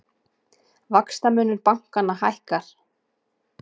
Vaxtamunur bankanna hækkar